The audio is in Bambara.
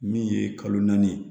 Min ye kalo naani ye